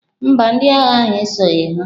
Mba, ndị agha ahụ esoghị ha.